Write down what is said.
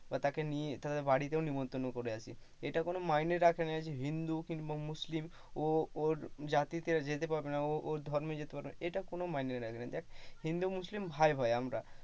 তাকে নিয়ে বা তাদের বাড়িতেও নেমন্তন্ন করে আসি, এটা কোন মাইনে রাখে না যে হিন্দু কিংবা মুসলিম ও ওর জাতিতে যেতে পারবে না। ও ওর ধর্মে যেতে পারবে না এটা আমার মাইনে রাখেনা। হিন্দু মুসলিম ভাই ভাই আমরা।